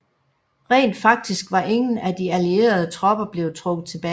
Rent faktisk var ingen af de allierede tropper blevet trukket tilbage